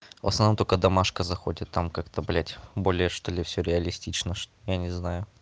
в основном только домашка заходит там как-то блядь более что ли всё реалистично я не знаю